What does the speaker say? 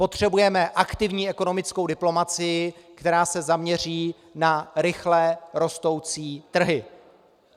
Potřebujeme aktivní ekonomickou diplomacii, která se zaměří na rychle rostoucí trhy.